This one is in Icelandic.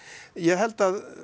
ég held